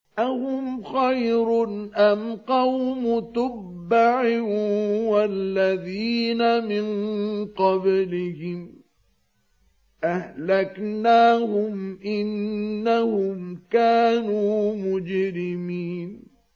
أَهُمْ خَيْرٌ أَمْ قَوْمُ تُبَّعٍ وَالَّذِينَ مِن قَبْلِهِمْ ۚ أَهْلَكْنَاهُمْ ۖ إِنَّهُمْ كَانُوا مُجْرِمِينَ